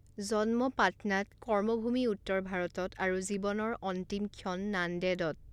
জন্ম পাটনাত, কৰ্মভূমি উত্তৰ ভাৰতত আৰু জীৱনৰ অন্তিম ক্ষণ নাণ্ডেডত।